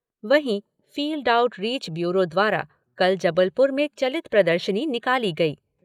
वहीं field outreach bureau द्वारा कल जबलपुर में चलित प्रदर्शनी निकाली गई।